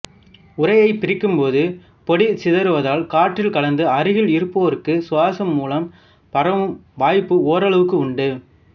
உறையை பிரிக்கும் போது பொடி சிதறுவதால் காற்றில் கலந்து அருகில் இருப்போருக்கு சுவாசம் மூலம் பரவும் வாய்ப்பு ஓரளவுக்கு உண்டு